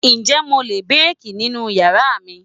Ǹjẹ́ mo lè béèkì nínú yàrá mi?